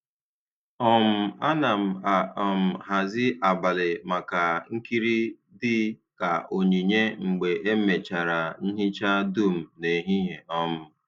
um A na m a um hazi abalị maka nkiri dị ka onyinye mgbe emechara nhicha dum n’ehihie. um